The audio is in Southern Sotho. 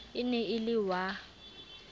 e ne e le wa